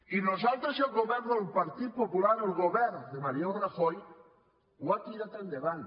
i nosaltres i el govern del partit popular el govern de mariano rajoy ho ha tirat endavant